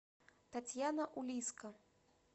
татьяна улиско